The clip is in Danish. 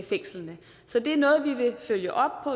fængslerne så det er noget vi vil følge op